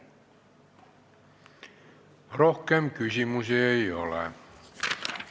Rohkem küsimusi ei ole.